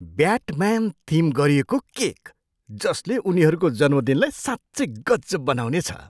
Batman theme गरिएको cake, जसले उनीहरूको जन्मदिनलाई साँच्चै गजब बनाउनेछ!